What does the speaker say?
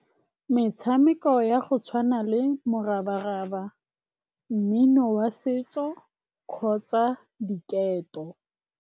Metshameko ya go tshwana le morabaraba, mmino wa setso kgotsa diketo.